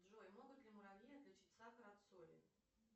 джой могут ли муравьи отличить сахар от соли